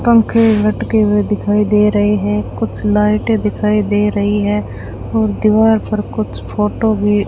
पंखे लटके हुए दिखाई दे रहे हैं कुछ लाइटे दिखाई दे रही है और दीवार पर कुछ फोटो भी --